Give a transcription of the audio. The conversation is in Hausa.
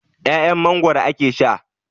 'Ya'yan Mangwaro ake sha.